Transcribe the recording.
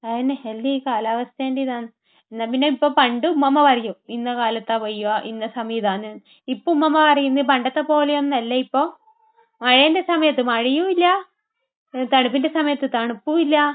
അതന്നെ. ഏത് ചെയ്യും? ഈ കാലാവസ്ഥയുടെ ഇതാണ്. എന്നാ പിന്നെ ഇപ്പൊ...പണ്ട് ഉമ്മുമ്മ പറയും, ഇന്ന കാലത്താണ് പെയ്യുക. ഇന്ന സമയം ഇതാണ്. ഇപ്പൊ ഉമ്മുമ്മ പറയും, പണ്ടത്തെപ്പോലെയൊന്നുമല്ല ഇപ്പോൾ. മഴയുടെ സമയത്ത് മഴയുമില്ല, തണുപ്പിന്റെ സമയത്ത് തണുപ്പുമില്ല,